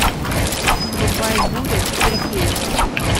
врубай буря четыре кей